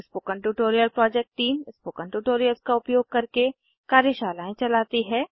spoken tutorial project team spoken tutorials का उपयोग करके कार्यशालाएं चलाती है